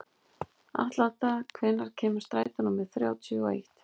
Atlanta, hvenær kemur strætó númer þrjátíu og eitt?